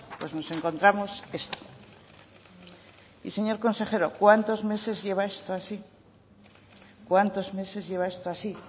nos encontramos esto y señor consejero cuántos meses lleva esto así cuántos meses lleva esto así